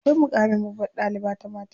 Akwai muƙamin babbar ɗaliba ta mata.